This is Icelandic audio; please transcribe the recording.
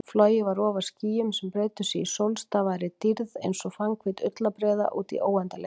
Flogið var ofar skýjum sem breiddu sig í sólstafaðri dýrð einsog fannhvít ullarbreiða útí óendanleikann.